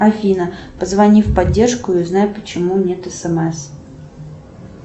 афина позвони в поддержку и узнай почему нет смс